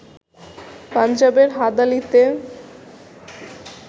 পাঞ্জাবের হাদালিতে